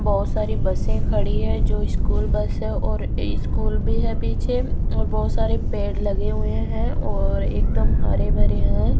बहोत सारी बसें खड़ी है जो स्कूल बस है और स्कूल भी है पीछे और बहोत सारे पेड़ लगे हुए हैं और एकदम हरे भरे हैं।